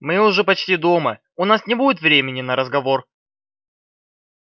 мы уже почти дома у нас не будет времени на разговор